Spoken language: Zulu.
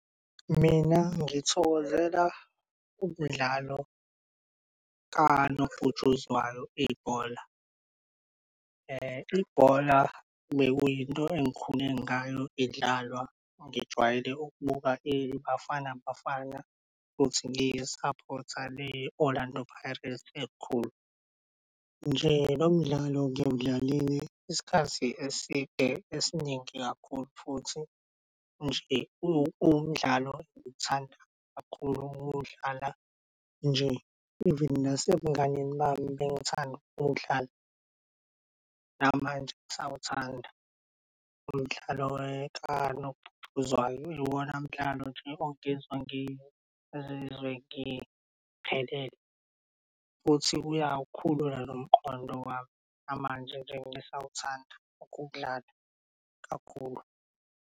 Mina ngithokozela umdlalo kanobhutshuzwayo, ibhola. Ibhola bekuyinto engikhule ngayo idlalwa ngijwayele ukubuka iBafana Bafana futhi ngiyi-support-a le-Orlando Pirates elikhulu. Nje nomdlalo ngiwudlalile isikhathi eside esiningi kakhulu futhi nje uwumdlalo engithanda kakhulu ukuwudlala nje even nasebunganeni bami bengithanda ukuwudlala. Namanje ngisawuthanda umdlalo umdlalo kanobhutshuzwayo iwona mdlalo nje ongenza ngizizwe ngiphelele futhi uyawukhulula nomqondo wami, namanje nje ngisawuthanda ukuwudlala kakhulu.